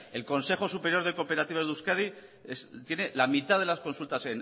el consejo superior de cooperativas de euskadi tiene la mitad de las consultas